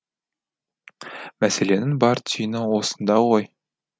мәселенің бар түйіні осында ғой